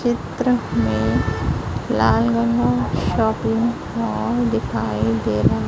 चित्र में Lal Ganga shopping mall दिखाई दे रहा--